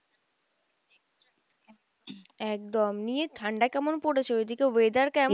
একদম নিয়ে ঠাণ্ডা কেমন পরেছে ওইদিকে weather কেমন?